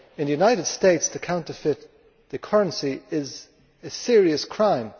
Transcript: In the United States, to counterfeit the currency is a serious crime.